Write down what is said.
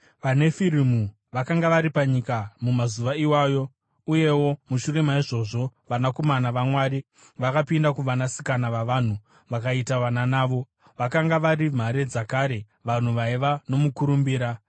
VaNefirimu vakanga vari panyika mumazuva iwayo, uyewo mushure maizvozvo, vanakomana vaMwari vakapinda kuvasikana vavanhu vakaita vana navo. Vakanga vari mhare dzakare, vanhu vaiva nomukurumbira.